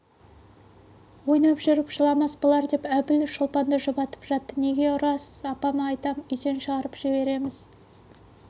ойнап жүріп жыламас болар деп әбіл шолпанды жұбатып жатты неге ұрасыз апама айтам үйден шығарып жібереміз